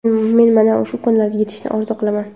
Men mana shu kunlarga yetishni orzu qilaman.